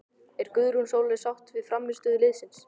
Er Guðrún Sóley sátt við frammistöðu liðsins?